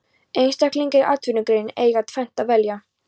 Einstaklingar í atvinnugreininni eiga um tvennt að velja.